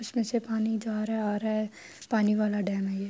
اسمے سے پانی جا رہا ہے آ رہا ہے۔ پانی والا ڈیم ہے یہ--